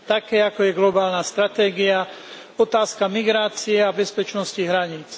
Také, ako je globálna stratégia, otázka migrácie a bezpečnosti hraníc.